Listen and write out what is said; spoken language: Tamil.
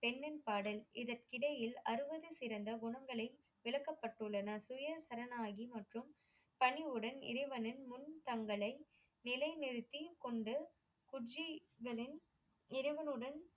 பெண்ணின் பாடல் இதற்கிடையில் அறுவது சிறந்த குணங்களை விளக்கப்பட்டுள்ளன. சுயசரநாகின் மற்றும் பணிவுடன் இறைவனின் முன் தங்களை நிலைநிறுத்திக் கொண்டு குட்ச்சிகளின் இறைவனுடன்